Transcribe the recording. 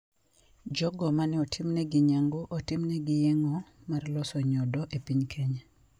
Jogo ma ne otimne nyangu otimne gi yeng`o mar loso nyodo e piny Kenya.